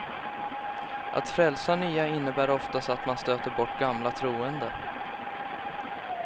Att frälsa nya innebär oftast att man stöter bort gamla troende.